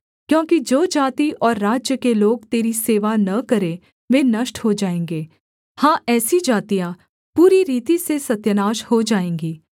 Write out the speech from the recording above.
क्योंकि जो जाति और राज्य के लोग तेरी सेवा न करें वे नष्ट हो जाएँगे हाँ ऐसी जातियाँ पूरी रीति से सत्यानाश हो जाएँगी